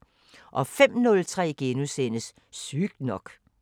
05:03: Sygt nok *